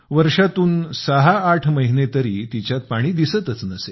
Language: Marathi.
वर्षातून सहाआठ महिने तरी तिच्यात पाणी दिसतच नसे